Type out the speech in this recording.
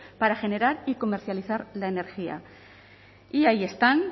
para generar y comercializar la energía y ahí están